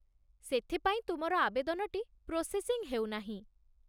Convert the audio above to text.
ସେଥିପାଇଁ ତୁମର ଆବେଦନଟି ପ୍ରୋସେସିଙ୍ଗ ହେଉନାହିଁ।